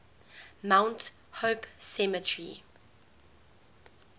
mount hope cemetery